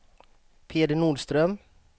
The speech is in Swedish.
Peder Nordström